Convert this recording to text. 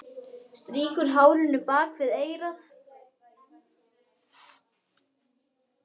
Strýkur hárinu bak við eyrað.